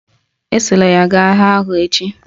Esola ha gaa agha ahụ echi!